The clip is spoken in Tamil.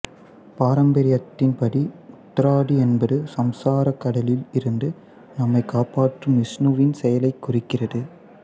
பாரம்பரியத்தின் படி உத்தராதி என்பது சம்சாரக் கடலில் இருந்து நம்மைக் காப்பாற்றும் விஷ்ணுவின் செயலைக் குறிக்கிறது